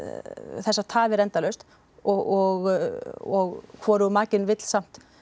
þessar tafir endalaust og hvorugur makinn vill samt